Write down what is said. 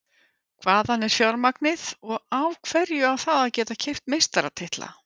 Hvaðan er fjármagnið og af hverju á það að geta keypt meistaratitla?